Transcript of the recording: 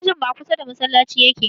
Ajinmu a kusa da masallaci yake